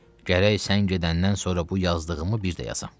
Gərək sən gedəndən sonra bu yazdığımı bir də yazam.